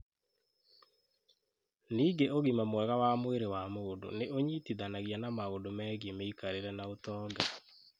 Ningĩ ũgima mwega wa mwĩrĩ wa mũndũ nĩ ũnyitithanagia na maũndũ megiĩ mĩikarĩre na ũtonga.